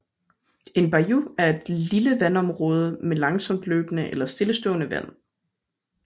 En bayou er et lille vandområde med langsomt løbende eller stillestående vand